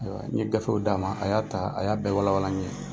Ayiwa n ye gafew d'a ma, a y'a ta, a y'a bɛɛ walawala n ye.